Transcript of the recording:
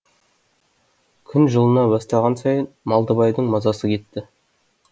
күн жылына бастаған сайын малдыбайдың мазасы кетті